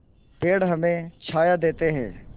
पेड़ हमें छाया देते हैं